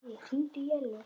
Baui, hringdu í Ellu.